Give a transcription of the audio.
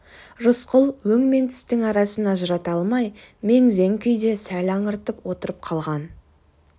рысқұл өң мен түстің арасын ажырата алмай мең-зең күйде сәл аңырып отырып қалған